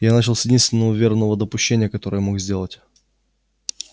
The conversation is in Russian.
я начал с единственного верного допущения которое мог сделать